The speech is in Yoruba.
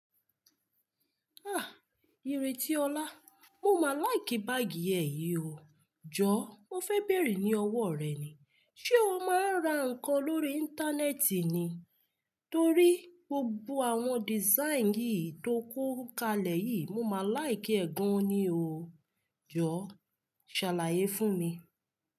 Iretiola, mo máa like báàgì ẹ yìí o. Jọ, mo fẹ́ bèèrè ní ọwọ́ rẹ ni, ṣe o máa ń ra nǹkan lórí Íńtánẹ́ẹ̀tì ni? Torí gbogbo àwọn dìsáínì yìí tó kún kalẹ̀ yìí, mo máa like ẹ̀ gan-an ni o. Jọ, ṣàlàyé fún mi.